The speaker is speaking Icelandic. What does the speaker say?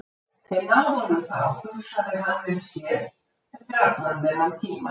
Þeir náðu honum þá, hugsaði hann með sér, eftir allan þennan tíma.